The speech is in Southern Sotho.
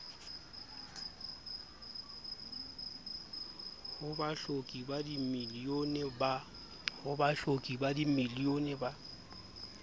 ho bahloki ba dimilione ba